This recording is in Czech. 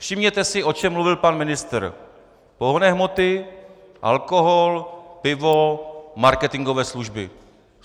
Všimněte si, o čem mluvil pan ministr: pohonné hmoty, alkohol, pivo, marketingové služby.